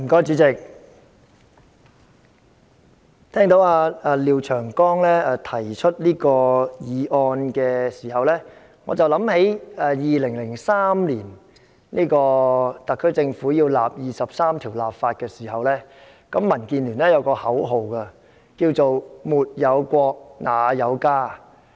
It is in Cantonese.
主席，聽到廖長江議員提出此議案時，我想起2003年特區政府就《基本法》第二十三條立法時，民主建港協進聯盟有一句口號：沒有國，哪有家。